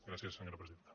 gràcies senyora presidenta